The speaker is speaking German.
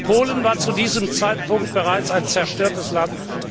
Polen war zu diesem Zeitpunkt bereits ein zerstörtes Land.